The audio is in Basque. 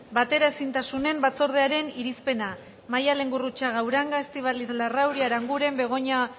bateraezintasunen batzordearen irizpena maialen gurrutxaga uranga estíbaliz larrauri aranguren begoña